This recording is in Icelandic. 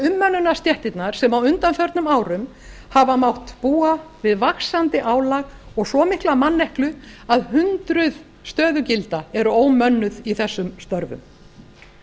umönnunarstéttirnar sem á undanförnum árum hafa mátt búa við vaxandi álag og svo mikla manneklu að hundruð stöðugilda eru ómönnuð í þessum störfum